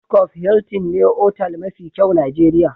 Transcof Hiltin ne otal mafi kyau Nijeriya.